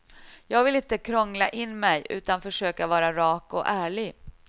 Jag vill inte krångla in mig utan försöka vara rak och ärlig.